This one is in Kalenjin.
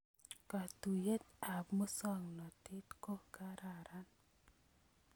Katuiyet ab musongnotet ko kararan